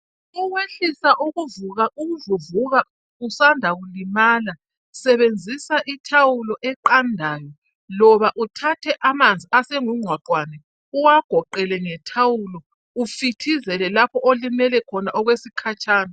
Ukwehlisa ukuvuvuka usanda kulimala sebenzisa ithawulo eqandayo loba uthathe amanzi asengungqwaqwane uwagoqele ngethawulo ufithizele lapho olimele khona okwesikhatshana.